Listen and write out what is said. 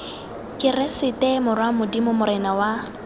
keresete morwa modimo morena wa